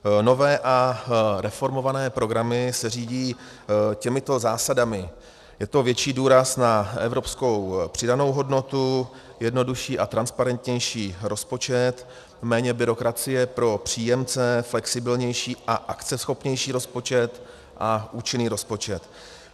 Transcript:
Nové a reformované programy se řídí těmito zásadami: je to větší důraz na evropskou přidanou hodnotu, jednodušší a transparentnější rozpočet, méně byrokracie pro příjemce, flexibilnější a akceschopnější rozpočet a účinný rozpočet.